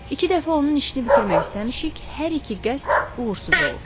İki dəfə onun işini bitirmək istəmişik, hər iki qəsd uğursuz olub.